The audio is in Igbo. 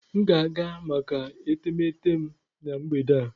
M ga-aga maka etemeete m na mgbede a.